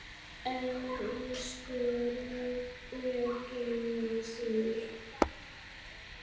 Elsku Regína Sif.